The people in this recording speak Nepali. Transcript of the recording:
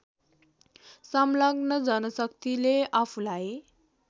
संलग्न जनशक्तिले आफूलाई